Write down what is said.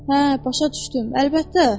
Hə, başa düşdüm, əlbəttə.